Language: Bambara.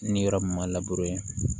Ni yɔrɔ min ma